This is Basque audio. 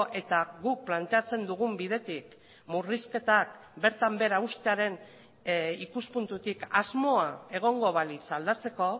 eta guk planteatzen dugun bidetik murrizketak bertan behera uztearen ikuspuntutik asmoa egongo balitz aldatzeko